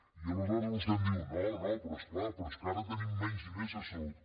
i aleshores vostè em diu no no però és clar però és que ara tenim menys diners a salut